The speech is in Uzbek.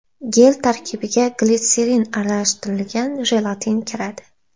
Gel tarkibiga glitserin aralashtirilgan jelatin kiradi.